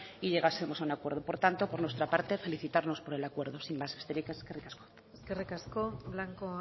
y llegásemos a un acuerdo por tanto por nuestra parte felicitarnos por el acuerdo besterik ez eskerrik asko eskerrik asko blanco